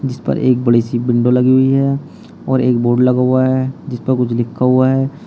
इस पर एक बड़ी सी विंडो लगी हुई है और एक बोर्ड लगा हुआ है जिस पर कुछ लिखा हुआ है।